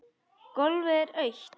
Gólfið er autt.